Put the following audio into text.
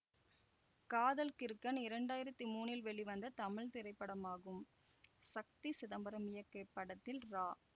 காதல் கிறுக்கன் இரண்டாயிரத்தி மூனில் வெளிவந்த தமிழ் திரைப்படமாகும் சக்தி சிதம்பரம் இயக்கிய இப்படத்தில் ரா